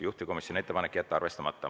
Juhtivkomisjoni ettepanek on jätta arvestamata.